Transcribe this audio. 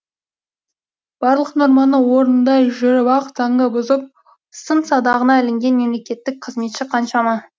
барлық норманы орындай жүріп ақ заңды бұзып сын садағына ілінген мемлекеттік қызметші қаншама